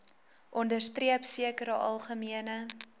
onderstreep sekere algemene